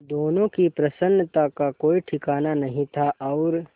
दोनों की प्रसन्नता का कोई ठिकाना नहीं था और